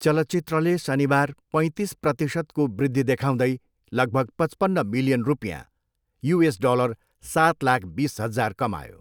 चलचित्रले शनिबार पैँतिस प्रतिशतको वृद्धि देखाउँदै लगभग पचपन्न मिलियन रुपियाँ, युएस डलर सात लाख, बिस हजार, कमायो।